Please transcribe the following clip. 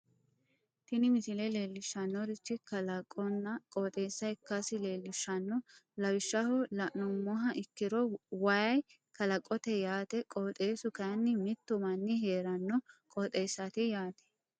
tini misile leellishshannorichi kalaqonna qooxeessa ikkasi leellishshanno lawishshaho la'nummoha ikkiro way kalaqote yaate qooxeessu kayiini mittu manni heeranno qooxeessaati yaate.